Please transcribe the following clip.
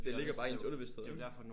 Det ligger bare i ens underbevisthed ikke?